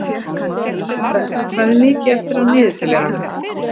Abel, hvað er mikið eftir af niðurteljaranum?